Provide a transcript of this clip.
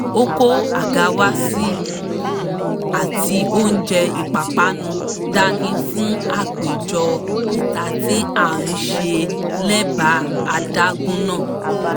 ó kó àga wá si àti oúnjẹ ìpapánu dání fún àpéjọ ìta tí à ń ṣe lẹ́bàá adágún náà